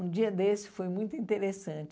Um dia desse foi muito interessante.